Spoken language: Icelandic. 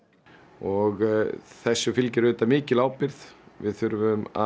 og þessu fylgir auðvitað mikil ábyrgð við þurfum að